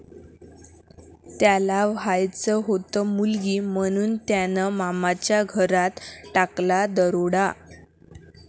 त्याला व्हायचं होतं मुलगी, म्हणून त्यानं मामाच्याच घरात टाकला 'दरोडा'!